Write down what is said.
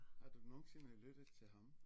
Har du nogensinde lyttet til ham